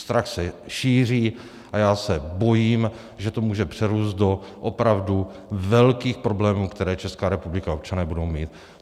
Strach se šíří a já se bojím, že to může přerůst do opravdu velkých problémů, které Česká republika a občané budou mít.